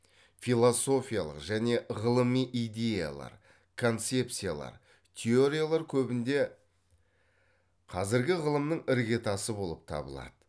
философиялық және ғылыми идеялар концепциялар теориялар көбінде қазіргі ғылымның іргетасы болып табылады